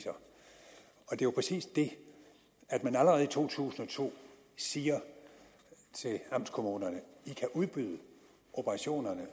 er jo præcis det man allerede i to tusind og to siger til amtskommunerne i kan udbyde operationerne